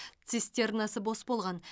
цистернасы бос болған